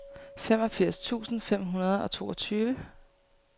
femogfirs tusind fem hundrede og toogtyve